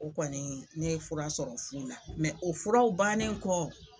O kɔni ne fura sɔrɔ fu la o furaw bannen kɔ